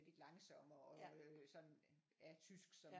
Lidt langsommere og øh sådan ja tysk som